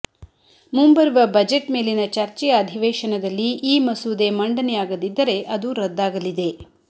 ಮುಂಬರುವ ಬಜೆಟ್ ಮೇಲಿನ ಚರ್ಚೆಯ ಅಧಿವೇಶನದಲ್ಲಿ ಈ ಮಸೂದೆ ಮಂಡನೆಯಾಗದಿದ್ದರೆ ಅದು ರದ್ದಾಗಲಿದೆ